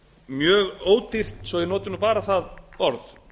mjög ódýrt svo ég noti bara það orð